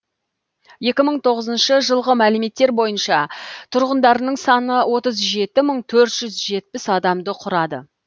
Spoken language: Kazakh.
екі мың тоғызыншы жылғы мәліметтер бойынша тұрғындарының саны отыз жеті мың төрт жүз жетпіс адамды құрады